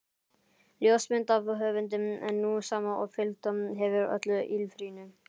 Ljósmynd af höfundi, sú sama og fylgt hefur öllu ýlfrinu.